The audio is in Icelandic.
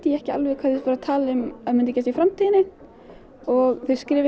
ekki alveg hvað þau voru að tala um að myndi gerast í framtíðinni og þau skrifuðu